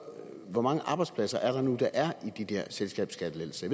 hvor mange arbejdspladser er det nu der er i de der selskabsskattelettelser